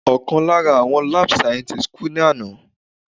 Ọ̀kan lára àwọn lab scientists kú ní àná.